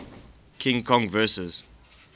king kong vs